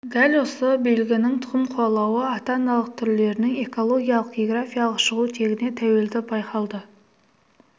дәл осы белгінің тұқым қуалауы ата-аналық түрлерінің экологиялық-географиялық шығу тегіне тәуелділігі байқалды